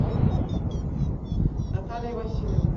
натальей васильевной